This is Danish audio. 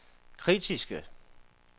kritiske